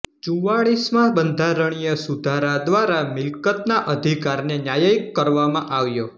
ચુંવાળીસમાં બંધરણીય સુધારા દ્વારા મિલકતના અધિકારને ન્યાયિક કરવામાં આવ્યો